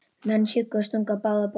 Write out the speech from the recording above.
Menn hjuggu og stungu á báða bóga.